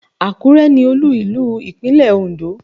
Àkúrẹ́ ni olú ìlú Ìpínlẹ̀ Ondó